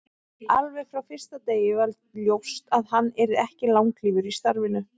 Alveg frá fyrsta degi var ljóst að hann yrði ekki langlífur í starfinu.